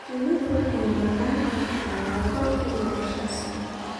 Shinnidu waxay noolaan kartaa laba ilaa shan sano.